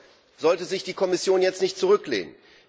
Dennoch sollte sich die Kommission jetzt nicht zurücklehnen.